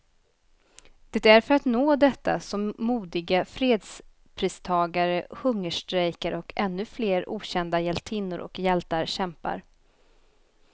Det är för att nå detta som modiga fredspristagare hungerstrejkar, och ännu flera okända hjältinnor och hjältar kämpar.